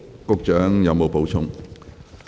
局長，你有否補充？